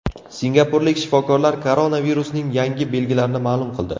Singapurlik shifokorlar koronavirusning yangi belgilarini ma’lum qildi.